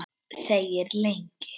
Þegir lengi.